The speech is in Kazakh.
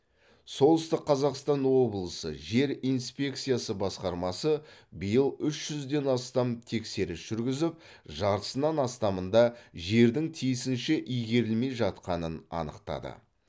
солтүстік қазақстан облысы жер инспекциясы басқармасы биыл үш жүзден астам тексеріс жүргізіп жартысынан астамында жердің тиісінше игерілмей жатқанын анықтады